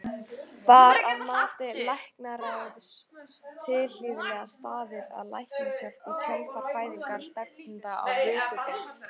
Var að mati læknaráðs tilhlýðilega staðið að læknishjálp í kjölfar fæðingar stefnanda á vökudeild?